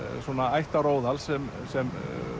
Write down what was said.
ættaróðal sem sem